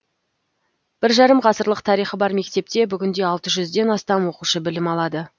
бір жарым ғасырлық тарихы бар мектепте бүгінде алты жүзден астам оқушы білім алады